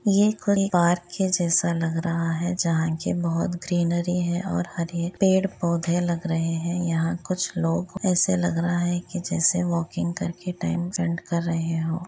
ये कोई पार्क के जैसा लग रहा हैं जहाँ के बोहोत ग्रीनरी है और हरे पेड़ पौधे लग रहे है और यहाँ कुछ लोग ऐसा लग रहा है की जैसे वोकिंग करके टाइम स्पेंड कर रहे हो।